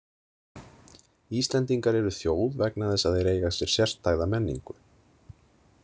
Íslendingar eru þjóð vegna þess að þeir eiga sér sérstæða menningu.